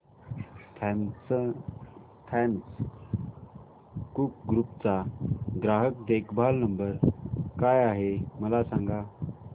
Thomas Cook group चा ग्राहक देखभाल नंबर काय आहे मला सांगा